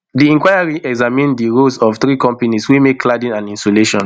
di inquiry examine di roles of three companies wey make cladding and insulation